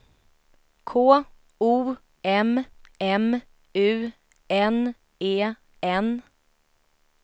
K O M M U N E N